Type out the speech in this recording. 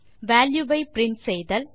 value வை print செய்தல்